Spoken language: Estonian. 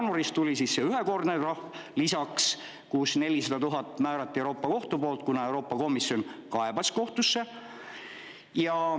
Jaanuaris tuli lisaks ühekordne trahv, 400 000 määrati Euroopa Kohtu poolt, kuna Euroopa Komisjon kaebas kohtusse.